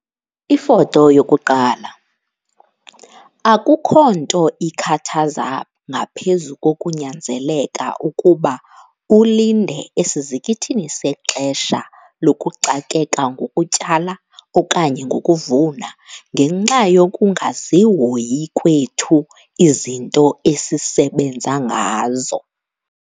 Ifoto 1- Akukho nto ikhathaza ngaphezu kokunyanzeleka ukuba ulinde esizikithini sexesha lokuxakeka ngokutyala okanye ngokuvuna ngenxa yokungazihoyi kwethu izinto esisebenza ngazo.